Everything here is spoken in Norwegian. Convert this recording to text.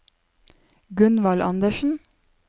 Gunvald Anderssen